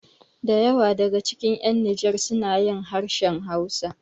Da yawa daga cikin ƴan nijar sunajin harshen hausa